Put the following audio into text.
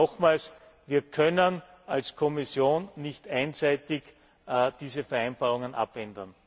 Aber nochmals, wir können als Kommission nicht einseitig diese Vereinbarungen abändern.